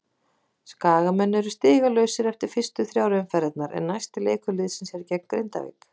Skagamenn eru stigalausir eftir fyrstu þrjár umferðirnar en næsti leikur liðsins er gegn Grindavík.